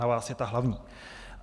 Na vás je ta hlavní.